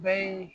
Bɛɛ ye